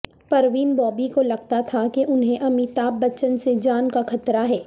پروین بابی کو لگتا تھا کہ انھیں امیتابھ بچن سے جان کا خطرہ ہے